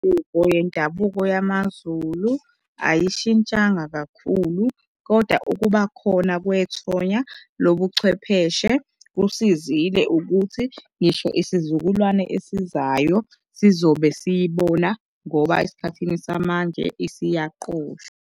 Imigubho yendabuko yamaZulu ayishintshanga kakhulu, kodwa ukuba khona kwethonya lobuchwepheshe kusizile ukuthi ngisho isizukulwane esizayo sizobe siyibona ngoba esikhathini samanje isiyaqoshwa.